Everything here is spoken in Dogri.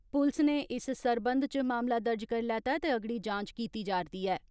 पुलस नै इस सरबंध च मामला दर्ज करी लैता ऐ ते अगड़ी जांच कीती जा रदी ऐ।